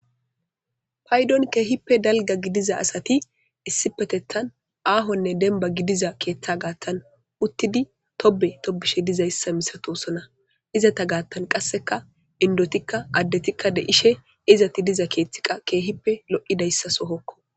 Paydon keehippe dalgga gidiza asati issipetettan aahonne demba gidiza keeththa gaattan uttidi tobe tobishe dizayssa misatosona izata gaattan qasseka indotikka addetikka de'ishe izati diza keeththi qa keehippe lo'idayssa sohokko